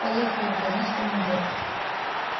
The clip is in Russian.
поехали произнёс командир